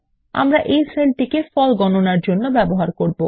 আমাদের এই সেলটিকে ফল গণনার জন্য ব্যবহার করব